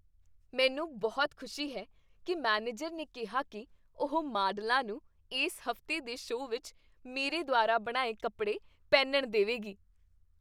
ਮੈਨੂੰ ਬਹੁਤ ਖੁਸ਼ੀ ਹੈ ਕੀ ਮੈਨੇਜਰ ਨੇ ਕਿਹਾ ਕੀ ਉਹ ਮਾਡਲਾਂ ਨੂੰ ਇਸ ਹਫ਼ਤੇ ਦੇ ਸ਼ੋਅ ਵਿੱਚ ਮੇਰੇ ਦੁਆਰਾ ਬਣਾਏ ਕੱਪੜੇ ਪਹਿਨਣ ਦੇਵੇਗੀ।